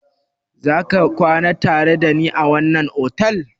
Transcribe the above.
Za ka kwana tare da ni a wannan otal?